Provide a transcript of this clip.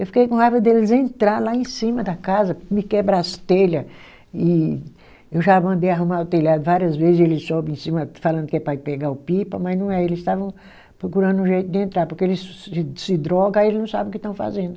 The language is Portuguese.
Eu fiquei com raiva deles entrar lá em cima da casa, me quebrar as telha, e eu já mandei arrumar o telhado várias vezes, eles sobem em cima falando que é para ir pegar o pipa, mas não é, eles estavam procurando um jeito de entrar, porque eles se se droga, aí eles não sabe o que estão fazendo.